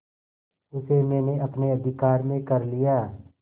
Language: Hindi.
उसे मैंने अपने अधिकार में कर लिया